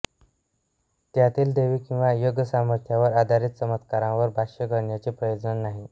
त्यातील दैवी किंवा योगसामर्थ्यावर आधारीत चमत्कारांवर भाष्य करण्याचे प्रयोजन नाही